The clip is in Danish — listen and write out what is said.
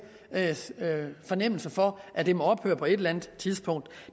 fornemmelse for at det må ophøre på et eller andet tidspunkt